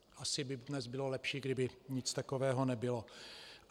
Asi by dnes bylo lepší, kdyby nic takového nebylo.